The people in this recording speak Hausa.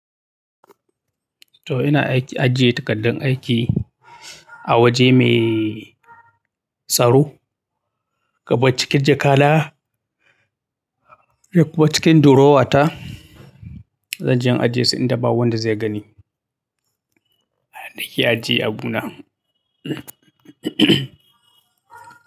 To ina aiki ajiye takaddun aiki awaje mai tsaro. Kamar cikin jakana da kuma cikin durowa ta. Zanje in ajiye su inda ba wanda zai gani. Nake ajiye abuna.